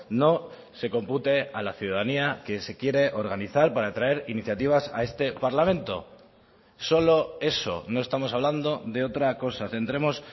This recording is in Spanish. no se compute a la ciudadanía que se quiere organizar para traer iniciativas a este parlamento solo eso no estamos hablando de otra cosa centremos